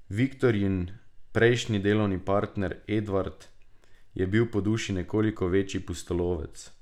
Viktorijin prejšnji delovni partner, Edvard, je bil po duši nekoliko večji pustolovec.